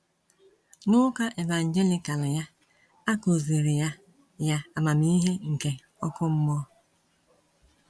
N’Ụka Evangelical ya, akụziri ya ya amamihe nke ọkụ mmụọ.